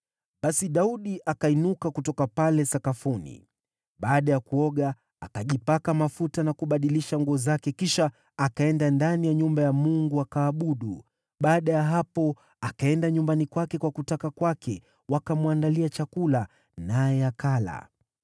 Basi Daudi akainuka kutoka pale sakafuni. Baada ya kuoga, akajipaka mafuta na kubadilisha nguo zake kisha akaenda ndani ya nyumba ya Bwana , akaabudu. Baada ya hapo akaenda nyumbani kwake kwa kutaka kwake, wakamwandalia chakula, naye akala.